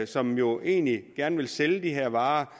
som jo egentlig gerne vil sælge de her varer